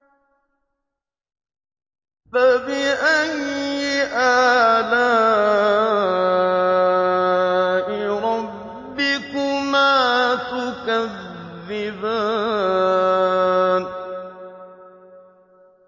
فَبِأَيِّ آلَاءِ رَبِّكُمَا تُكَذِّبَانِ